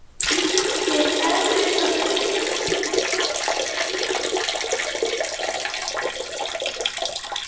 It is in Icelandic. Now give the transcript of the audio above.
Er erfitt að gera þetta?